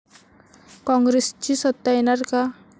कॉंग्रेसची सत्ता येणार का?